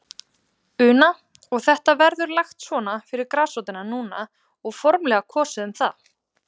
Una: Og þetta verður lagt svona fyrir grasrótina núna og formlega kosið um það?